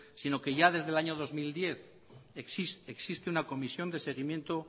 sino que ya desde el año dos mil diez existe una comisión de seguimiento